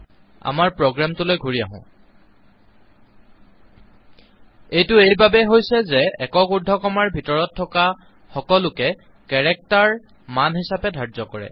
আমাৰ প্ৰোগ্ৰামটোলৈ ঘূৰি আহো এইটো এই বাবেই হৈছে যে একক উৰ্দ্ধকমাৰ ভিতৰত থকা সকলোকে কেৰেক্টাৰ মান হিচাবে ধাৰ্য কৰে